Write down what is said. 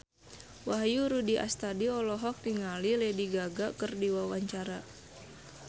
Wahyu Rudi Astadi olohok ningali Lady Gaga keur diwawancara